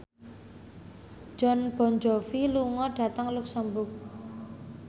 Jon Bon Jovi lunga dhateng luxemburg